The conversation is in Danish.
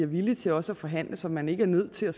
villig til også at forhandle så man ikke er nødt til at